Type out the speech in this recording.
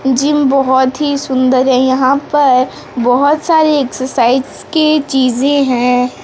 Gym बहोत ही सुंदर है यहां पर बहोत सारे एक्सरसाइज के चीजें है।